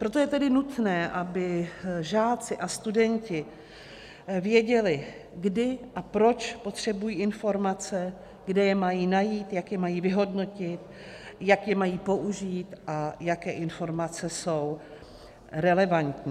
Proto je tedy nutné, aby žáci a studenti věděli, kdy a proč potřebují informace, kde je mají najít, jak je mají vyhodnotit, jak je mají použít a jaké informace jsou relevantní.